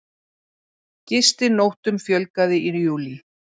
Gistinóttum fjölgaði í júlí